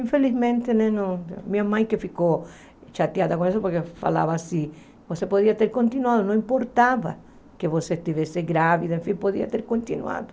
Infelizmente, ele não minha mãe que ficou chateada com isso, porque falava assim, você podia ter continuado, não importava que você estivesse grávida, enfim, podia ter continuado.